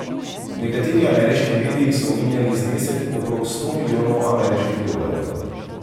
Nekateri ameriški mediji so omenjali znesek okrog sto milijonov ameriških dolarjev.